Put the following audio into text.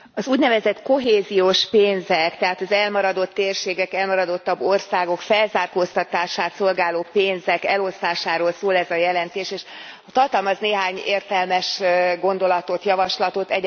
Elnök Úr, az úgynevezett kohéziós pénzek, tehát az elmaradott térségek, elmaradottabb országok felzárkóztatását szolgáló pénzek elosztásáról szól ez a jelentés, és tartalmaz néhány értelmes gondolatot, javaslatot.